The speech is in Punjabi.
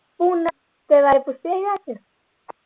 ਹੁਣ ਬਾਰੇ ਪੁੱਛਿਆ ਹੀ